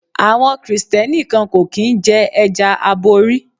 Àwọn Kristẹni kan kò kín ń jẹ́ ẹja aborí.